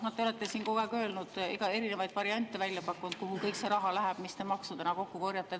Te olete siin kogu aeg rääkinud ja erinevaid variante välja pakkunud, kuhu läheb see raha, mis te maksudena kokku korjate.